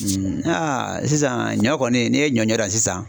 sisan ɲɔ kɔni n'e ɲɔ ɲɔ da sisan